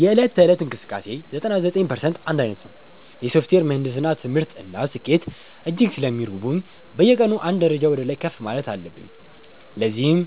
የዕለት ተዕለት እንቅስቃሴዬ 99% አንድ ዓይነት ነው። የሶፍትዌር ምህንድስና ትምህርት እና ስኬት እጅግ ስለሚረቡኝ፣ በየቀኑ አንድ ደረጃ ወደ ላይ ከፍ ማለት አለብኝ። ለዚህም